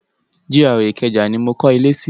GRA Ìkẹjà ni mo kọ́lé sí.